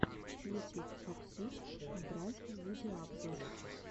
ютюб абсурд драйв видеообзор